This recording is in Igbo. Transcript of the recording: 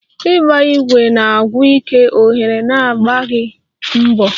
ịgba igwe bụ na-agwụ ike oghere na-agbaghi mbọ